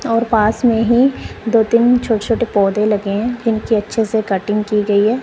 और पास में ही दो तीन छोटे छोटे पौधे लगे हैं इनकी अच्छे से कटिंग की गई है।